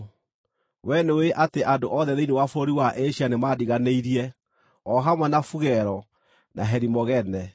Wee nĩũĩ atĩ andũ othe thĩinĩ wa bũrũri wa Asia nĩmandiganĩirie, o hamwe na Fugelo, na Herimogene.